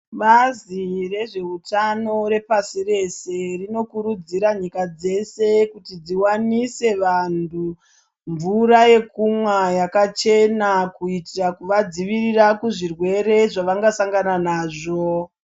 Bazi rezveutano repashi reshe rinokurudzira nyika dzese kuti dziwanise vanhu mvura yekumwa yakachena kuita kuvadzivirira kuzvirwere zvavangasangana nazvo.